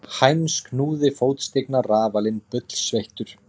Heinz knúði fótstigna rafalinn bullsveittur.